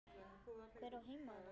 Hver á heima þarna?